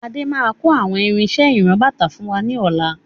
Adé máà kò àwọn irinsẹ́ ìran-bàtà fún wa ní ọ̀la.